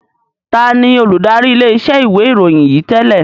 Taàní olùdarí ilé iṣẹ́ ìwé ìròyìn yìí tẹ́lẹ̀?